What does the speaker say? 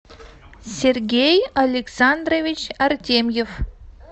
сергей александрович артемьев